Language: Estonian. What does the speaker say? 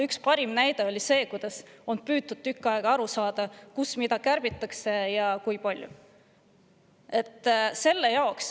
Üks parim näide on see, kuidas tükk aega on püütud aru saada, kust mida kärbitakse ja kui palju.